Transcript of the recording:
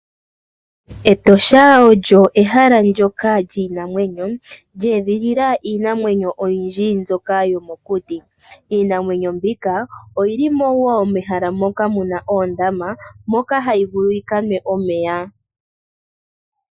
Etosha olyo ehala ndoka lyiinamwenyo, lye edhilila iinamwenyo oyindji mbyoka yomokuti. Iinamwenyo mbika oyili mo wo mehala moka muna oondama, moka hayi vulu yi ka nwe omeya.